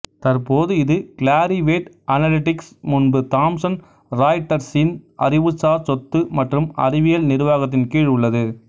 தற்போது இது Clarivate Analytics முன்பு தாம்சன் ராய்ட்டர்ஸின் அறிவுசார் சொத்து மற்றும் அறிவியல் நிர்வாகத்தின்கீழ் உள்ளது